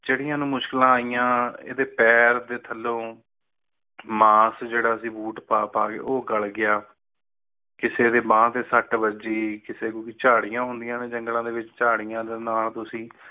ਜੇੜੀ ਅਨੂ ਮੁਸ਼ਕਲਾ ਆਈਆ ਅਤੇ ਪੈਰ ਦੇ ਥੱਲੇ ਮਾਸ ਜੇੜਾ ਸੀ ਬੂਟ ਪਾ ਪਾ ਕੇ ਉਹ ਗੱਲ ਗਯਾ ਕਿਸੇ ਨੇ ਬਾਂਹ ਤੇ ਸੱਟ ਵੱਜੀ ਕਿਸੇ ਕੋ ਝਾੜੀਆਂ ਹੁੰਦੀਆਂ ਨੇ ਜੰਗਲਾਂ ਵਿਚ ਝਾੜੀਆਂ ਦੇ ਨਾਲ ਤੁਸੀਂ